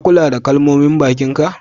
Ka kulla da ƙalamonin bakin ka?